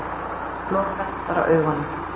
Loka bara augunum.